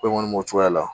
Ko in kɔni b'o cogoya la